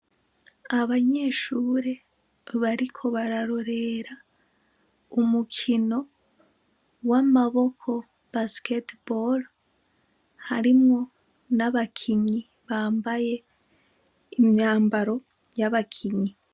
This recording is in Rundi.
Abanyeshure bariko bararorera, umukino, w'amaboko basikete bore, harimwo n'abakinyi bambaye imyambaro yabakinyi.